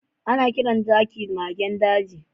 Ana kiran zaki magen daji.